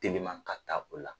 Teliman ka taa o la.